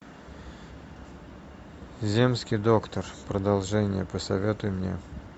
земский доктор продолжение посоветуй мне